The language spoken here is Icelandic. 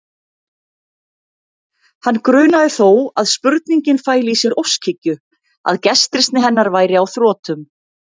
Hann grunaði þó að spurningin fæli í sér óskhyggju, að gestrisni hennar væri á þrotum.